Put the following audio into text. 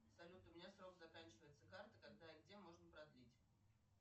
салют у меня срок заканчивается карты когда и где можно продлить